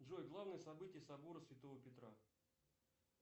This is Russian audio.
джой главные события собора святого петра